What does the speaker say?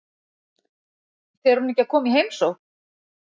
Fer hún ekki að koma í heimsókn?